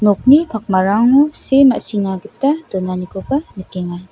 okni pakmarango see ma·sina gita donanikoba nikenga.